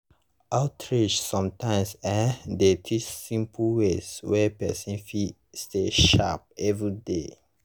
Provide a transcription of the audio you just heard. outreach sometimes[um]dey teach simple ways wey person fit stay sharp everyday.